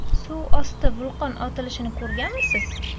Suvosti vulqon otilishini ko‘rganmisiz?